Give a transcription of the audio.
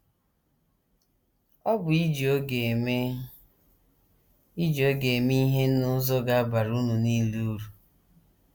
Ọ bụ iji oge eme iji oge eme ihe n’ụzọ ga - abara unu nile uru.